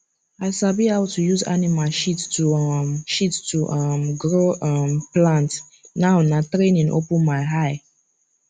i sabi how to use animal shit to um shit to um grow um plant now na training open my eye